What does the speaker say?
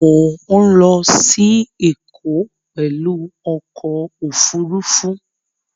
Mọ̀ ń lọ sí Ẹ̀kọ́ pẹ̀lú ọkọ̀ Òfurufú